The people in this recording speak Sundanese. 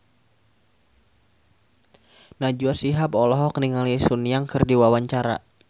Najwa Shihab olohok ningali Sun Yang keur diwawancara